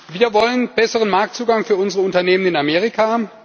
Wir wollen besseren Marktzugang für unsere Unternehmen in Amerika.